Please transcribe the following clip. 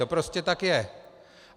To prostě tak je.